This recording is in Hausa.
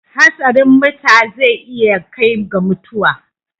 Hatsarin muta zai iya kai ga mutuwa.